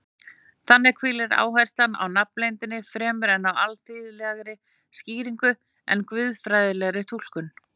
Þannig hvílir áherslan á nafnleyndina fremur á alþýðlegri skýringu en guðfræðilegri túlkun.